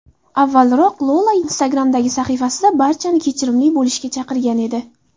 Avvalroq Lola Instagram’dagi sahifasida barchani kechirimli bo‘lishga chaqirgan edi.